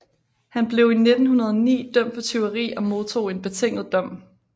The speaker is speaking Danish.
Han blev i 1909 dømt for tyveri og modtog en betinget dom